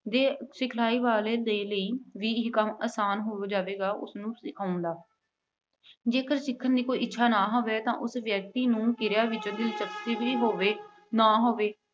ਦੇ, ਸਿਖਲਾਈ ਵਾਲੇ ਦੇ ਲਈ ਵੀ ਅਹ ਕੰਮ ਆਸਾਨ ਹੋ ਜਾਵੇਗਾ, ਉੁਸਨੂੰ ਸਿਖਾਉਣ ਦਾ ਜੇਕਰ ਸਿੱਖਣ ਦੀ ਕੋਈ ਇੱਛਾ ਨਾ ਹੋਵੇ ਤੇ ਉਸ ਵਿਅਕਤੀ ਨੂੰ ਕਿਰਿਆ ਵਿੱਚ ਦਿਲਚਸਪੀ ਵੀ ਹੋਵੇ, ਨਾ ਹੋਵੇ